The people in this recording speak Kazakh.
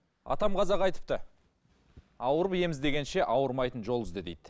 атам қазақ айтыпты ауырып ем іздегенше ауырмайтын жол ізде дейді